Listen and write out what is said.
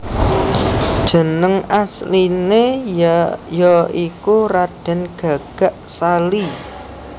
Jeneng asliné ya iku Radèn Gagak Sali